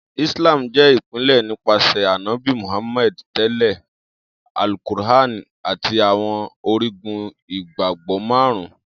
Islam jẹ ipilẹ nipasẹ Anabi Muhammad, tẹle Al-Qur’an ati Awọn Origun Igbagbọ Marun.